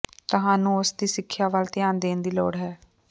ਤੁਹਾਨੂੰ ਉਸ ਦੀ ਸਿੱਖਿਆ ਵੱਲ ਧਿਆਨ ਦੇਣ ਦੀ ਲੋੜ ਹੈ